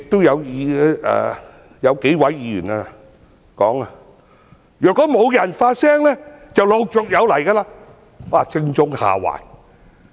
有數位議員說，如果沒有人發聲的話，這類事情便陸續有來。